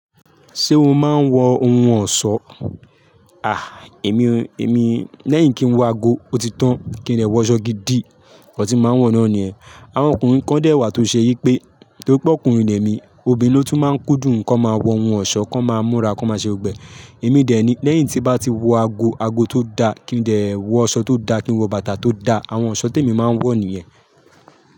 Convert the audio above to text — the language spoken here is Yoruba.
Ṣé o máa ń wọ ohun ọ̀ṣọ́? Èmi, èmi lẹ́yìn kí n wọ ago, ó ti tán, kí n dè wọ ọ̀ṣọ́ gidi, nkan tí máa ń wọ̀ náà nìyẹn. Àwọn ọkùnrin kan dẹ̀ wà tó ṣe yí pé, torí pé ọkùnrin lẹ́mi, obìnrin ló tún máa ń kúndùn kí wọ́n máa wọ ohun ọ̀ṣọ́, kí wọ́n máa múra, kí wọ́n máa ṣe gbọgbẹ́. Èmi dè ẹ́ ni, lẹ́yìn tí bá ti wọ ago, ago tó da, kí n dè wọ ọ̀ṣọ́ tó da, kí n wọ bàtà tó da, àwọn ọ̀ṣọ́ tí èmi máa ń wọ̀ nìyẹn.